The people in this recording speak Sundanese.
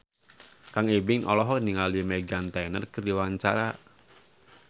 Kang Ibing olohok ningali Meghan Trainor keur diwawancara